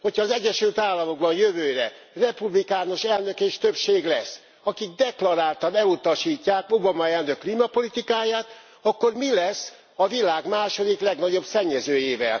Ha az Egyesült Államokban jövőre republikánus elnök és többség lesz, akik deklaráltan elutasítják Obama elnök klímapolitikáját, akkor mi lesz a világ második legnagyobb szennyezőjével?